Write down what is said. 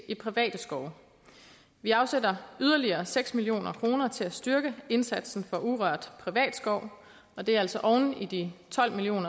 i private skove vi afsætter yderligere seks million kroner til at styrke indsatsen for urørt privat skov og det er altså oven i de tolv million